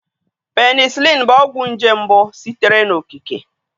Penicịlin bụ ọgwụ nje mbụ sitere n'okike.